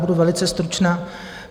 Budu velice stručná.